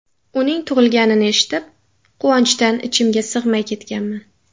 Uning tug‘ilganini eshitib, quvonchdan ichimga sig‘may ketganman.